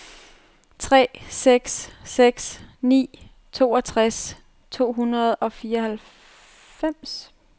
tre seks seks ni toogtres to hundrede og fireoghalvfems